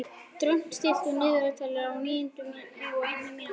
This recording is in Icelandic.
Dröfn, stilltu niðurteljara á níutíu og eina mínútur.